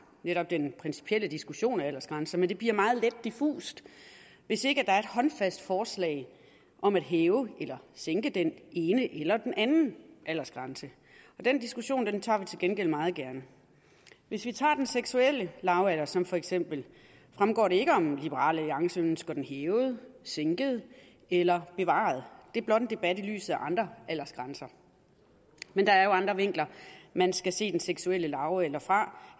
netop den principielle diskussion af aldersgrænser men det bliver meget let diffust hvis ikke der er et håndfast forslag om at hæve eller sænke den ene eller den anden aldersgrænse den diskussion tager vi til gengæld meget gerne hvis vi tager den seksuelle lavalder som eksempel fremgår det ikke om liberal alliance ønsker den hævet sænket eller bevaret det er blot en debat i lyset af andre aldersgrænser men der er jo andre vinkler man skal se den seksuelle lavalder fra